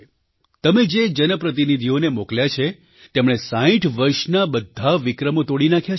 તમે જે જનપ્રતિનિધિઓને મોકલ્યા છે તેમણે 60 વર્ષના બધા વિક્રમો તોડી નાખ્યા છે